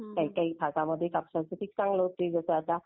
काही काही भागांमध्ये कापसाचे पीक चांगलं होते जसं आता.